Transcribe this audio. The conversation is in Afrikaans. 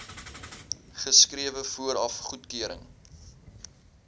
geskrewe vooraf goedkeuring